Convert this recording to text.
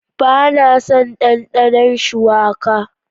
Ba na son dandano shuwaka.